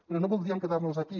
però no voldríem quedar nos aquí